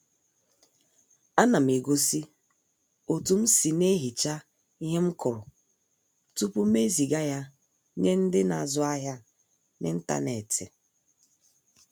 Á nà m egósí òtú m sì na-ehichá íhe m kụrụ tupu m ezìgá yá nyé ndị́ na-ázụ ahiá n'ịntanetị